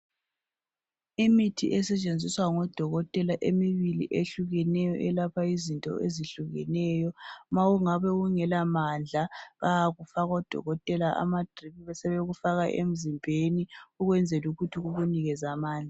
Imithi esetshenziswa ngodokotela imibili ehlukeneyo eyelapha izinto ezihlukeneyo ma ungabe ungela mandla bayakufaka odokotela amadrip besebekufaka emzimben ukuze kukunikeze ambandla